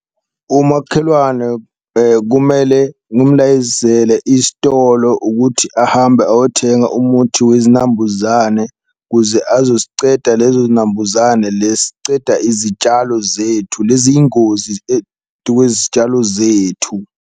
Umakhelwane kumele ngumlayezele isitolo ukuthi ahambe ayothenga umuthi wezinambuzane ukuze azoziceda lezo zinambuzane, le siceda izitshalo zethu lezi yingozi tu kwezitshalo zethu.